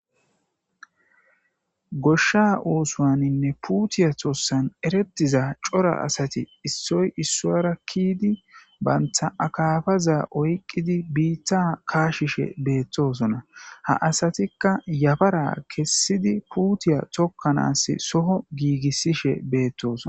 goshsha oosuwaninne puutiya tossan eretiza cora asati issoy issuwara kiydi banta akafaza oyqqidi biitta kaashishe beettosona ha asatikka yabara kessidi puutiya tokkanaas soho giigissishe beettosona